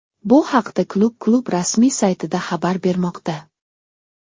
Bu haqda klub klub rasmiy saytida xabar bermoqda .